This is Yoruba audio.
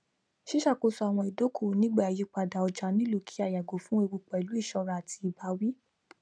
ṣíṣàkóso àwọn ìdókòwò nígbà ìyípadà ọjà nílò kí à yago fun eewu pẹlú iṣọra àti ìbáwí